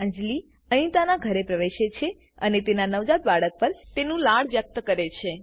અંજલી અનિતાના ઘરે પ્રવેશે છે અને તેના નવજાત બાળક પર તેનું લાડ વ્યક્ત કરે છે